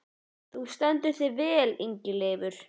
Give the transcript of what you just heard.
Þú stendur þig vel, Ingileifur!